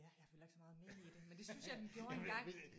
Ja jeg følger ikke så meget med i det men det synes jeg den gjorde engang